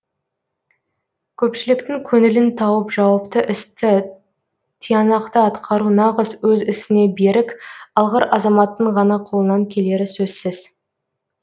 көпшіліктің көңілін тауып жауапты істі тиянақты атқару нағыз өз ісіне берік алғыр азаматтың ғана қолынан келері сөзсіз